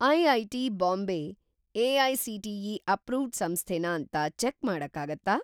IIT. Bombay AICTE. Approved ಸಂಸ್ಥೆನಾ ಅಂತ check ಮಾಡಕ್ಕಾಗತ್ತಾ?